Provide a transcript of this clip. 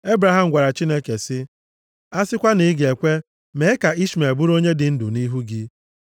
Ebraham gwara Chineke sị, “A sịkwa na ị ga-ekwe mee ka Ishmel bụrụ onye dị ndụ nʼihu gị.”